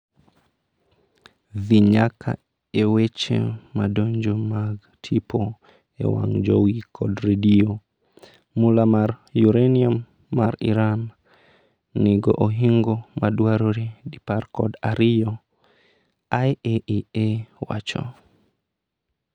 dhi nyaka e weche madonjo mag tipo e wang jowi kod redio, mula mar uranium ma Iran nigo ohingo madwarore dipar kod ariyo, IAEA wacho